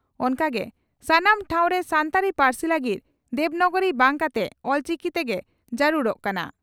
ᱚᱱᱠᱟᱜᱮ ᱥᱟᱱᱟᱢ ᱴᱷᱟᱣ ᱨᱮ ᱥᱟᱱᱛᱟᱲᱤ ᱯᱟᱨᱥᱤ ᱞᱟᱜᱤᱫ ᱫᱮᱵᱱᱟᱜᱚᱨᱤ ᱵᱟᱝ ᱠᱟᱛᱮᱜ ᱚᱞᱪᱤᱠᱤ ᱛᱮᱜᱮ ᱡᱟᱨᱩᱲᱚᱜ ᱠᱟᱱᱟ ᱾